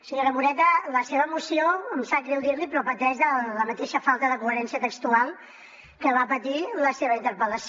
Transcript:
senyora moreta la seva moció em sap greu dir l’hi però pateix de la mateixa falta de coherència textual que va patir la seva interpel·lació